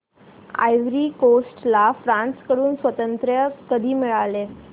ivory Coast ला France कडून स्वातंत्र्य कधी मिळाले